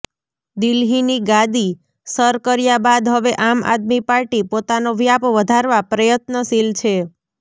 દિલ્હીની ગાડી સર કર્યા બાદ હવે આમ આદમી પાર્ટી પોતાનો વ્યાપ વધારવા પ્રયત્નશીલ છે